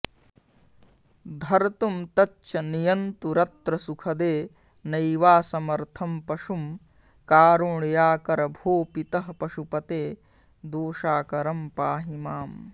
धर्तुं तच्च नियन्तुमत्र सुखदे नैवासमर्थं पशुं कारुण्याकर भो पितः पशुपते दोषाकरं पाहि माम्